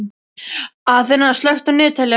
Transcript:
Aþena, slökktu á niðurteljaranum.